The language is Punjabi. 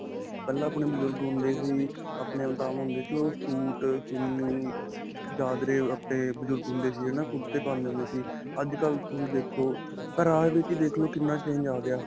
ਪਹਿਲਾਂ ਆਪਣੇ ਬਜੁਰਗ ਹੁੰਦੇ ਸੀ ਆਪਣੇ ਸੂਟ, ਚੁੰਨੀ, ਚਾਦਰੇ, ਆਪਣੇ ਬਜੁਰਗ ਹੁੰਦੇ ਸੀ ਹੈ ਨਾਂ. ਕੁਰਤੇ ਪਾਉਂਦੇ ਹੁੰਦੇ ਸੀ. ਅੱਜਕਲ੍ਹ ਤੁਸੀਂ ਦੇਖੋ ਪਹਿਰਾਵੇ ਵਿੱਚ ਹੀ ਦੇਖਲੋ ਕਿੰਨਾ change ਆ ਗਿਆ.